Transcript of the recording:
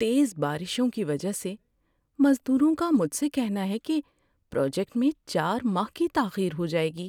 تیز بارشوں کی وجہ سے، مزدوروں کا مجھ سے کہنا ہے کہ پراجیکٹ میں چار ماہ کی تاخیر ہو جائے گی۔